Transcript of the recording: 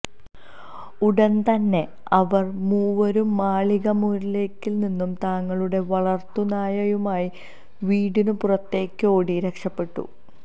ഉടന്തന്നെ അവര് മൂവരും മാളിക മുറിയില്നിന്നും തങ്ങളുടെ വളര്ത്തു നായയുമായി വീടിനു പുറത്തേക്കോടി രക്ഷപെട്ടു